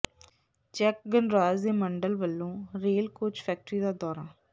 check ਗਣਰਾਜ ਦੇ ਮੰਡਲ ਵੱਲੋਂ ਰੇਲ ਕੋਚ ਫੈਕਟਰੀ ਦਾ ਦੌਰਾ